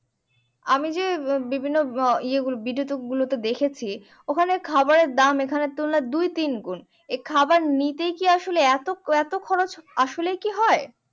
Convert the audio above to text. আমি যে বিভিন্ন ভিডিও গুলোতে দেখেছি ওখানে যে খাওয়ার এর দাম গুলো এখানের তুলনায় দুই তিনগুন এই খাবার নিতেই কি আসলে এতো খরচ আসলেই কি হয়